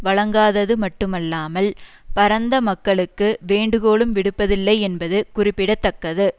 வழங்காதது மட்டுமல்லாமல் பரந்த மக்களுக்கு வேண்டுகோளும் விடுப்பதில்லை என்பது குறிப்பிட தக்கது